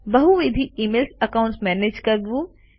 બહુવિધ email accounts manage કરવું